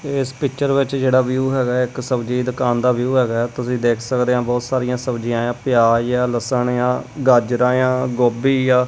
ਏਸ ਪਿਕਚਰ ਵਿੱਚ ਜਿਹੜਾ ਵਿਊ ਹੈਗਾ ਇੱਕ ਸਬਜ਼ੀ ਦੁਕਾਨ ਦਾ ਵਿਊ ਹੈਗਾ ਤੁਸੀਂ ਦੇਖ ਸਕਦੇ ਹ ਬਹੁਤ ਸਾਰੀਆਂ ਸਬਜ਼ੀਆਂ ਆ ਪਿਆਜ਼ ਆ ਲੱਸਣ ਆ ਗਾਜਰਾਂ ਆ ਗੋਭੀ ਆ।